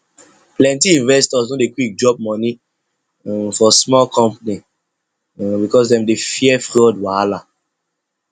plenty investors no dey quick drop money um for small company um because dem dey fear fraud wahala